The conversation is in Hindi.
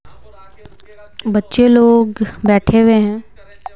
बच्चे लोग बैठे हुए है।